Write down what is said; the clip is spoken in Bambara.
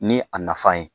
Ni a nafan ye